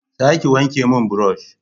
za ki wanke mun burosh